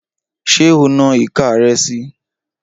Ṣé o na ìka rẹ si?